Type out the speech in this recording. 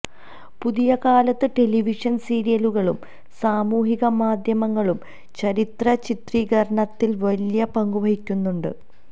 പുതിയ കാലത്ത് ടെലിവിഷന് സീരിയലുകളും സാമൂഹിക മാധ്യമങ്ങളും ചരിത്ര ചിത്രീകരണത്തില് വലിയ പങ്കുവഹിക്കുന്നുണ്ട്